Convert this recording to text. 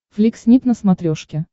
флик снип на смотрешке